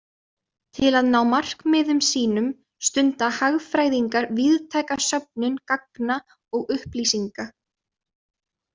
Til að ná markmiðum sínum stunda hagfræðingar víðtæka söfnun gagna og upplýsinga.